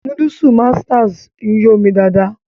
Núdúùsù Masters ń yó ni dáadáa